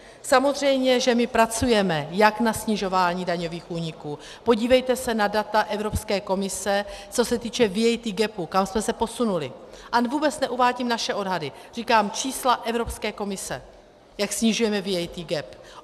Samozřejmě že my pracujeme jak na snižování daňových úniků, podívejte se na data Evropské komise, co se týče VAT Gap, kam jsme se posunuli, a vůbec neuvádím naše odhady, říkám čísla Evropské komise, jak snižujeme VAT Gap.